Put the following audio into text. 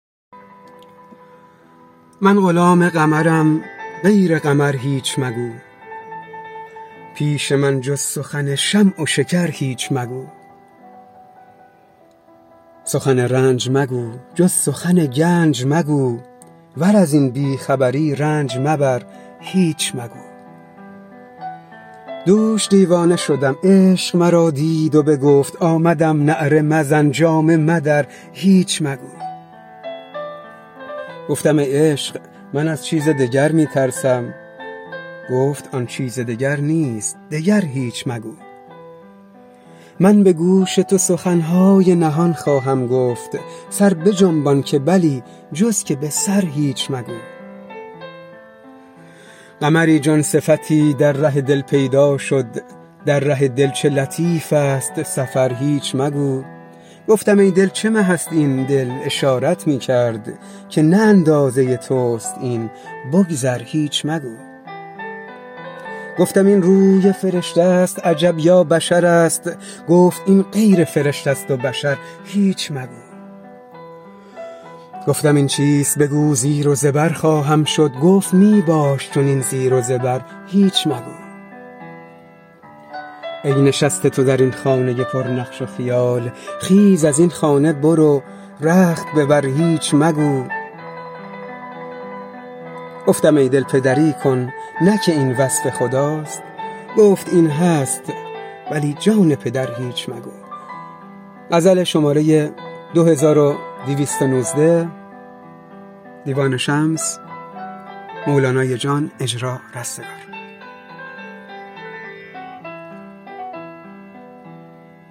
من غلام قمرم غیر قمر هیچ مگو پیش من جز سخن شمع و شکر هیچ مگو سخن رنج مگو جز سخن گنج مگو ور از این بی خبری رنج مبر هیچ مگو دوش دیوانه شدم عشق مرا دید و بگفت آمدم نعره مزن جامه مدر هیچ مگو گفتم ای عشق من از چیز دگر می ترسم گفت آن چیز دگر نیست دگر هیچ مگو من به گوش تو سخن های نهان خواهم گفت سر بجنبان که بلی جز که به سر هیچ مگو قمری جان صفتی در ره دل پیدا شد در ره دل چه لطیف ست سفر هیچ مگو گفتم ای دل چه مه ست این دل اشارت می کرد که نه اندازه توست این بگذر هیچ مگو گفتم این روی فرشته ست عجب یا بشرست گفت این غیر فرشته ست و بشر هیچ مگو گفتم این چیست بگو زیر و زبر خواهم شد گفت می باش چنین زیر و زبر هیچ مگو ای نشسته تو در این خانه پرنقش و خیال خیز از این خانه برو رخت ببر هیچ مگو گفتم ای دل پدری کن نه که این وصف خداست گفت این هست ولی جان پدر هیچ مگو